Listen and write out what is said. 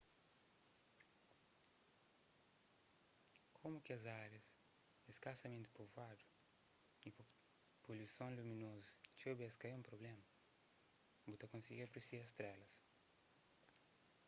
komu kes árias é skasamenti povuadu y poluison luminozu txeu bês ka é un prubléma bu ta konsigi apresia strélas